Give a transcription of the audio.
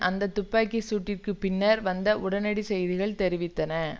அந்த துப்பாக்கி சூட்டிற்கு பின்னர் வந்த உடனடி செய்திகள் தெரிவித்தன